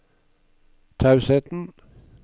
tausheten